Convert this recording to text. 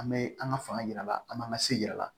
An bɛ an ka fanga yirala an b'an ka se yira a la